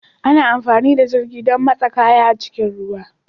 Ana amfani da jirgin don motsa kaya ta cikin ruwa